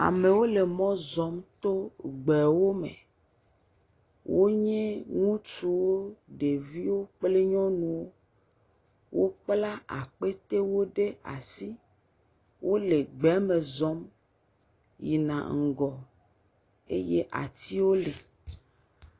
Amewo le mɔ zɔm to gbewo me. wonye ŋutsuwo, ɖeviwo kple nyɔnuwo. Wokpla akpetewo ɖe asi. Wole gbeme zɔm yina ŋgɔ eye atiwo le.